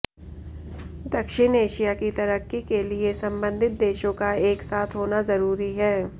दक्षिण एशिया की तरक्की के लिए संबंधित देशों का एक साथ होना जरूरी है